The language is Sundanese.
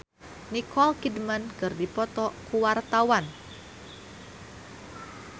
Acha Septriasa jeung Nicole Kidman keur dipoto ku wartawan